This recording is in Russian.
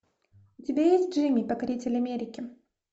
у тебя есть джимми покоритель америки